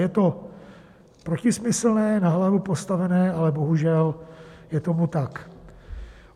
Je to protismyslné, na hlavu postavené, ale bohužel je tomu tak.